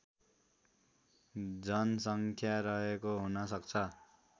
जनसङ्ख्या रहेको हुनसक्छ